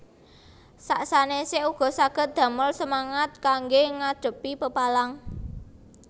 Sak sanèsé uga saged damel semangat kanggé ngadhepi pepalang